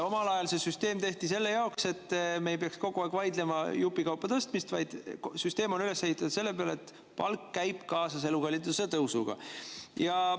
Omal ajal see süsteem tehti selleks, et me ei peaks kogu aeg vaidlema palkade jupikaupa tõstmise, vaid süsteem oleks üles ehitatud nii, et palk käib kaasas elukalliduse tõusuga.